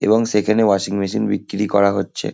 এবং সেখানে washing machine বিক্রি করা হচ্ছে।